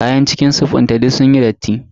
Kayan cikin sif dinta duk sunyi datti.